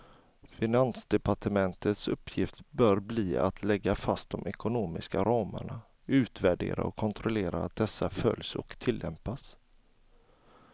Finansdepartementets uppgift bör bli att lägga fast de ekonomiska ramarna, utvärdera och kontrollera att dessa följs och tillämpas.